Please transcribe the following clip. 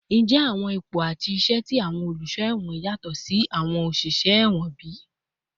Njẹ awọn ipo ati iṣẹ ti awọn oluṣọ ẹwọn yatọ si ti awọn oṣiṣẹ ẹwọn bi?